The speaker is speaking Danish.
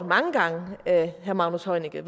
af herre magnus heunicke